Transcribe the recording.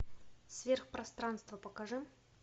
сверхпространство покажи